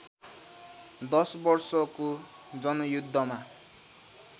१० वर्षको जनयुद्धमा